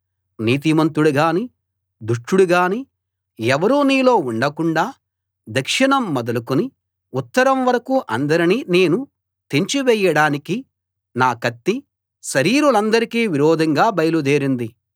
నీతిమంతుడుగాని దుష్టుడుగాని ఎవరూ నీలో ఉండకుండాా దక్షిణం మొదలుకుని ఉత్తరం వరకూ అందరినీ నేను తెంచివేయడానికి నా కత్తి శరీరులందరికీ విరోధంగా బయలుదేరింది